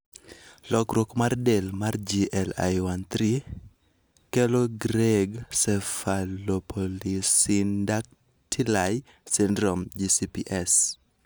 Lokruok mar del mar GLI3 kelo Greig cephalopolysyndactyly syndrome (GCPS).